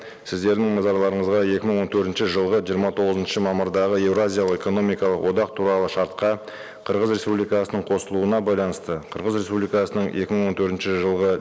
сіздердің назарларыңызға екі мың он төртінші жылғы жиырма тоғызыншы мамырдағы еуразиялық экономикалық одақ туралы шартқа қырғыз республикасының қосылуына байланысты қырғыз республикасының екі мың он төртінші жылғы